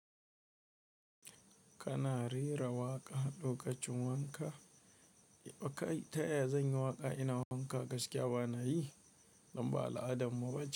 Kana rera waƙa, lokacin wanka, bakai ta yanzu waƙa ina wanka gaskiya bana yi, don ba al'adan mu ba ce.